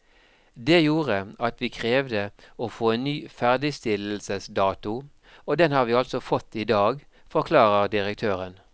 Det gjorde at vi krevde å få en ny ferdigstillelsesdato, og den har vi altså fått i dag, forklarer direktøren.